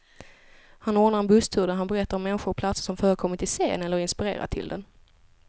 Han ordnar en busstur där han berättar om människor och platser som förekommit i serien, eller inspirerat till den.